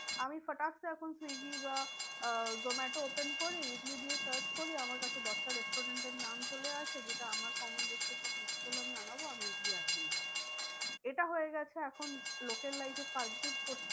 আমি এখন সুইগী বা আহ জোমাটো open করে ইডলি দিয়ে search করি আমার কাছে দশটা restaurants এর নাম চলে আসে যেটা আমার common restaurant আমার ইচ্ছে হলো আমি আনাবো আমি ইডলি আনিয়ে নিলাম এটা হয়ে গেছে এখন লোকের life এ per day প্রত্যেক~